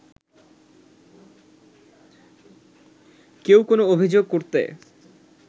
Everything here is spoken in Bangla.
কেউ কোনো অভিযোগ করতে